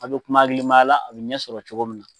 A' bɛ kuma hakilimaya la, a bɛ ɲɛ sɔrɔ cogo min na.